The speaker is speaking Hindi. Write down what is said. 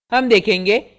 हम देखेंगे